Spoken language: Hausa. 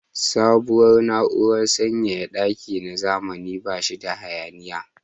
Sabuwar na'urar sanyaya daki na zamani ba shi da hayaniya.